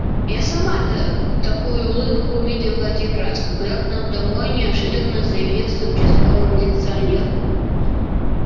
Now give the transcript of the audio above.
я сама-то такую улыбку увидела один раз когда к нам домой неожиданно заявился участковый милиционер